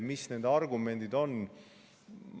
Mis nende argumendid on?